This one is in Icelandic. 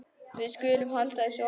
Við skulum halda þessu opnu.